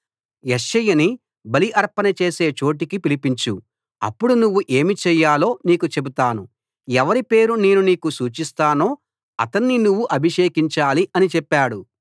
యెష్షయిని బలి అర్పణ చేసే చోటికి పిలిపించు అప్పుడు నువ్వు ఏమి చేయాలో నీకు చెబుతాను ఎవరి పేరు నేను నీకు సూచిస్తానో అతణ్ణి నువ్వు అభిషేకించాలి అని చెప్పాడు